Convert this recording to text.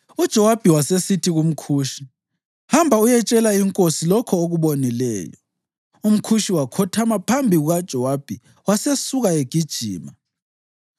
UJowabi wasesithi kumKhushi, “Hamba uyetshela inkosi lokho okubonileyo.” UmKhushi wakhothama phambi kukaJowabi wasesuka egijima.